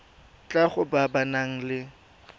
tlhago ba ba nang le